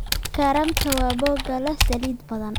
Karamta waa boga leh saliid badan.